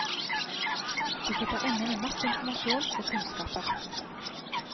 De sitter inne med masse informasjon og kunnskaper.